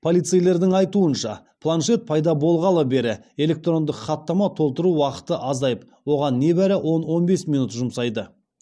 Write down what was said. полицейлердің айтуынша планшет пайда болғалы бері электрондық хаттама толтыру уақыты азайып оған небәрі он он бес минут жұмсайды